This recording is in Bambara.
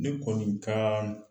Ne kɔni ka